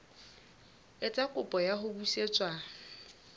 etsa kopo ya ho busetswa